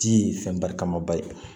Ji ye fɛn ba kama ba ye